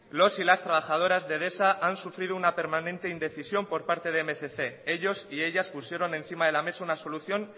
los y las trabajadoras de edesa han sufrido una permanente indecisión por parte de mil doscientos ellos y ellas pusieron encima de la mesa una solución